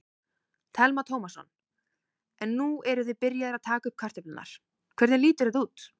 Telma Tómasson: En nú eruð þið byrjaðir að taka upp kartöflurnar, hvernig lítur þetta út?